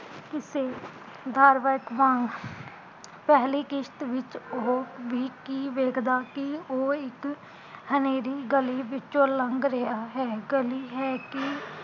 ਕਿਸੇ ਬਾਰਵਜ ਵਾਂਗ ਪੈਹਲੀ ਕਿਸ਼ਤ ਵਿੱਚ ਓਹ ਵੀ ਕੀ ਵੇਖਦਾ ਕੀ ਉਹ ਇੱਕ ਹਨੇਰੀ ਗਲੀ ਵਿੱਚੋਂ ਲੰਘ ਰਿਹਾ ਹੈ ਗਲੀ ਹੈ ਕੀ